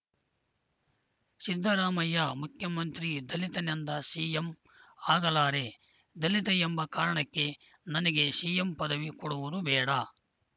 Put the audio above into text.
ಸಿದ್ದರಾಮಯ್ಯ ಮುಖ್ಯಮಂತ್ರಿ ದಲಿತನೆಂದ ಸಿಎಂ ಆಗಲಾರೆ ದಲಿತ ಎಂಬ ಕಾರಣಕ್ಕೆ ನನಗೆ ಸಿಎಂ ಪದವಿ ಕೊಡುವುದು ಬೇಡ